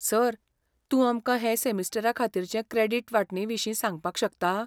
Sir, तूं आमकां हे सेमिस्टराखातीरचे क्रॅडीट वांटणेविशीं सांगपाक शकता?